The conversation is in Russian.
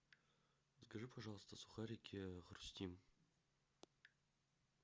закажи пожалуйста сухарики хрустим